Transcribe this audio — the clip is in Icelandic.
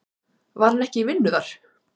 Var hann ekki í vinnu þar?